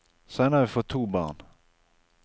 Senere har vi fått to barn.